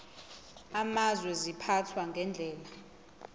amazwe ziphathwa ngendlela